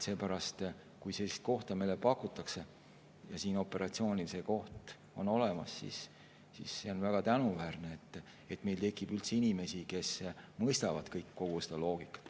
Seepärast, kui sellist kohta meile pakutakse ja sellel operatsioonil see koht on olemas, siis see on väga tänuväärne, et meil tekib inimesi, kes mõistavad kogu seda loogikat.